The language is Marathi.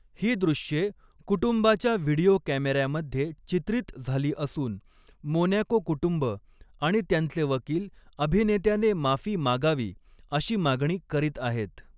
ही दृश्ये कुटुंबाच्या व्हिडिओ कॅमेऱ्यामध्ये चित्रीत झाली असून, मोनॅको कुटुंब आणि त्यांचे वकील अभिनेत्याने माफी मागावी अशी मागणी करीत आहेत.